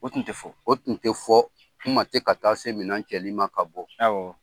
O tun tɛ fɔ , o tun tɛ fɔ , ɲuman tɛ ka taa se minɛn cɛli ma ka bɔ.